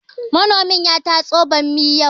Manomin ya tatso bammi yau